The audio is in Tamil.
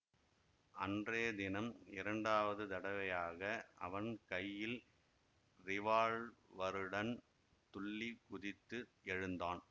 அன்றைய தினம் இரண்டாவது தடவையாக அவன் கையில் ரிவால்வருடன் துள்ளிக் குதித்து எழுந்தான்